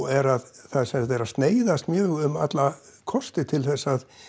er að það er að sneiðast mjög um alla kosti til þess að